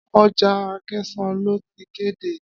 Ọjà Akẹ̀sán ló ti kéde.